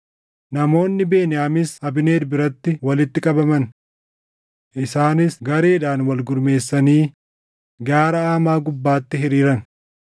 Namoonni Beniyaamis Abneer biratti walitti qabaman. Isaanis gareedhaan walgurmeessanii gaara Amaa gubbaatti hiriiran.